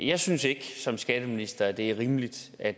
jeg synes ikke som skatteminister det er rimeligt at